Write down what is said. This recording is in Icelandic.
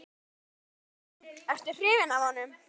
Jón Örn Guðbjartsson: Ertu hrifinn af honum?